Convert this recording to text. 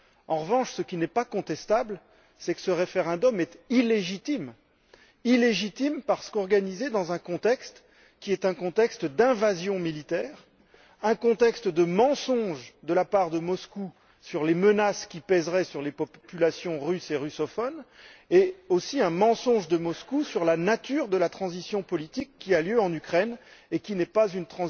En revanche, ce qui n'est pas contestable, c'est que ce référendum est illégitime, parce qu'il est organisé dans un contexte d'invasion militaire, un contexte de mensonges de la part de Moscou sur les menaces qui pèseraient sur les populations russes et russophones et aussi de mensonges de Moscou sur la nature de la transition politique qui a lieu en Ukraine et qui ne résulte pas d'un